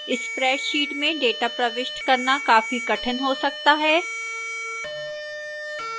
spreadsheet में data प्रविष्ट करना कॉफी कठिन हो सकता है